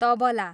tabla